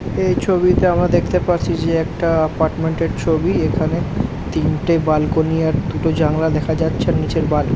এই ছবিতে আমরা দেখতে পাচ্ছি যে একটা অ্যাপার্টমেন্টের ছবি। এখানে তিনটে বেলকনি আর দুটো জানালা দেখা যাচ্ছে আর নিচের বাথ ।